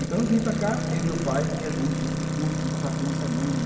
Então eu vim para cá, eu e meu pai, a gente vinha juntos para o curso, eu passava aqui uma semana.